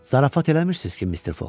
Zarafat eləmirsiniz ki, Mister Foq?